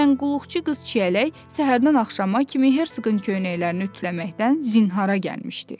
Məsələn, qulluqçu qız Çiyələk səhərdən axşama kimi herqın köynəklərini ütüləməkdən zinhara gəlmişdi.